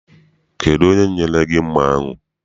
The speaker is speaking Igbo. Kedụ onye nyere gị mma ahụ?